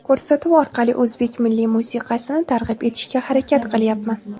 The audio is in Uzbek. Ko‘rsatuv orqali o‘zbek milliy musiqasini targ‘ib etishga harakat qilyapman.